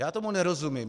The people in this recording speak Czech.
Já tomu nerozumím.